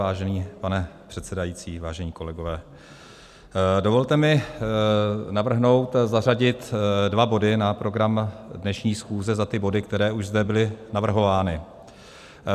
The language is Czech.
Vážený pane předsedající, vážení kolegové, dovolte mi navrhnout zařadit dva body na program dnešní schůze za ty body, které už zde byly navrhovány.